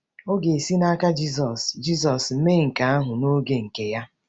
Ọ ga-esi n’aka Jizọs Jizọs mee nke ahụ n’oge nke Ya.